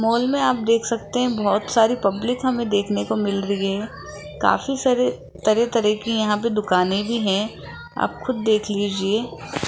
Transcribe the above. Mall में आप देख सकते हैं बहोत सारी पब्लिक हमें देखने को मिल रही है काफी सारे तरह तरह के यहां पे दुकानें भी है आप खुद देख लीजिए।